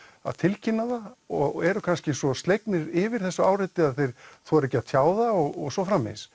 að tilkynna það og eru kannski svo slegnir yfir þessu áreiti að þeir þora ekki að tjá það og svo framvegis